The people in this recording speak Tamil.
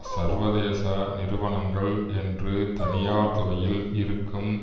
சர்வதேச நிறுவனங்கள் என்று தனியார் துறையில் இருக்கும்